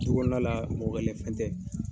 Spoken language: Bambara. Tu kɔnɔla la mɔgɔ fɛn tɛ.